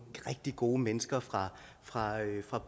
rigtig gode mennesker fra fra